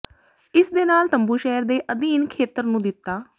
ਇਸ ਦੇ ਨਾਲ ਤੰਬੂ ਸ਼ਹਿਰ ਦੇ ਅਧੀਨ ਖੇਤਰ ਨੂੰ ਦਿੱਤਾ